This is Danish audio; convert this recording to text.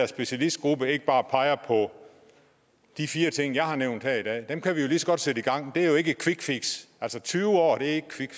specialistgruppe ikke bare peger på de fire ting jeg har nævnt her i dag dem kan vi jo lige så godt sætte gang men det er jo ikke et quickfix altså tyve år er ikke